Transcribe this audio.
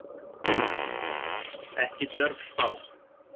Ekki djörf spá.